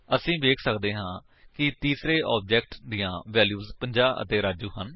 ਅਸੀ ਵੇਖ ਸੱਕਦੇ ਹਾਂ ਕਿ ਤੀਸਰੇ ਆਬਜੇਕਟ ਦੀਆਂ ਵੈਲਿਊਜ 50 ਅਤੇ ਰਾਜੂ ਹਨ